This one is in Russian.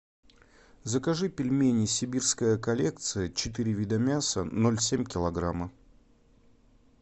закажи пельмени сибирская коллекция четыре вида мяса ноль семь килограмма